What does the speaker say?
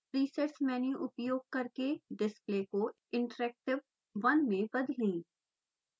presets menu उपयोग करके display को interactive 1 में बदलें